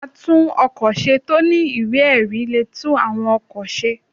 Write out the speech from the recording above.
Àtún-ọ̀kọ̀ ṣe tọ ní ìwẹ́-erí le tún awọ́n òkọ̀ sẹ́